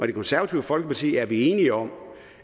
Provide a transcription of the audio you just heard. det konservative folkeparti er vi enige om